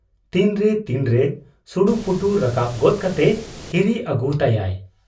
ᱛᱤᱱᱨᱮ ᱛᱤᱱᱨᱮ ᱥᱩᱲᱩᱯᱩᱴᱩ ᱨᱟᱠᱟᱵ ᱜᱚᱫ ᱠᱟᱛᱮ ᱦᱤᱨᱤ ᱟᱹᱜᱩᱭ ᱛᱟᱭᱟᱜ ᱾